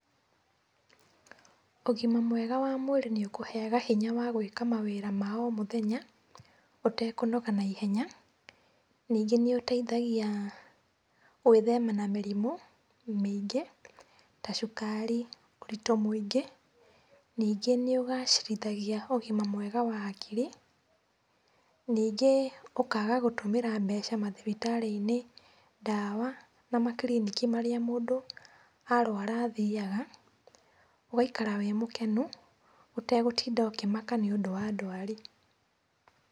Ũgima mwega wa mwĩrĩ nĩũkũheaga hinya wa gwĩka mawĩra ma o mũthenya ũtekũnoga naihenya. Ningĩ nĩũteithagia gwĩthema na mĩrimũ mĩngĩ ta cukari, ũritũ mũingĩ. Ningĩ nĩũgacĩrithagia ũgima mwega wa hakiri. Ningĩ ũkaga gũtũmĩra mbeca mathibitarĩ-inĩ, ndawa na makiriniki marĩa mũndũ arwara athiaga, ũgaikara wĩ mũkenu ũtegũtinda ũkĩmaka nĩũndũ wa ndwari.